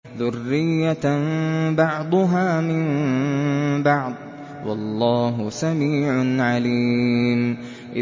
ذُرِّيَّةً بَعْضُهَا مِن بَعْضٍ ۗ وَاللَّهُ سَمِيعٌ عَلِيمٌ